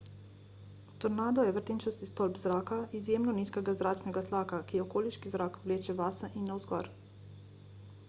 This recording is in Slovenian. tornado je vrtinčast stolp zraka izjemno nizkega zračnega tlaka ki okoliški zrak vleče vase in navzgor